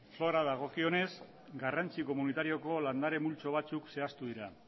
faunari dagokionez garrantzi komunitarioko landare multzo batzuk zehaztu dira